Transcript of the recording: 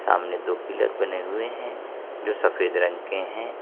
सामने दो पिलर बने हुए है जो सफेद रंग के हैं।